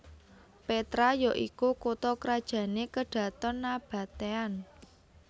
Petra ya iku kutha krajané Kedhaton Nabatean